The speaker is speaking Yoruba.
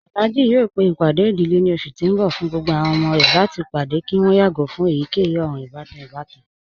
Alhaji yọọ pe ipádẹ̀ idílé ni ọṣù ti n bọ̀ fún gbogbo àwọn ọmọ rẹ̀ láti padẹ̀ kí wọn yàgo fun èyíkeyì òran-ìbatan ìbàtàn.